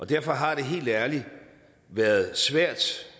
derfor har det helt ærligt været svært